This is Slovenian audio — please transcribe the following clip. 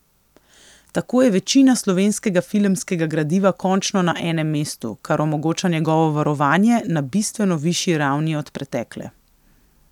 Tako je večina slovenskega filmskega gradiva končno na enem mestu, kar omogoča njegovo varovanje na bistveno višji ravni od pretekle.